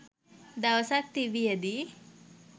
දවසක් තිබියදී